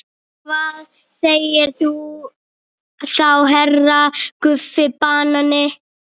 Og hvað segir þú þá HERRA Guffi banani?